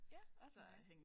Ja også mig